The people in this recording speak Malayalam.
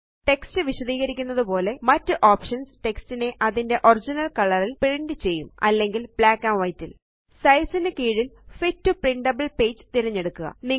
ടെക്സ്റ്റ് വിശദീകരിക്കുന്നതുപോലെ മറ്റ് ഓപ്ഷൻസ് സ്ലൈടിനെ അതിന്റെ ഒറിജിനൽ കളർ ല് പ്രിന്റ് ചെയ്യും സൈസ് നു കീഴില് ഫിറ്റ് ടോ പ്രിന്റബിൾ പേജ് തിരഞ്ഞെടുക്കുക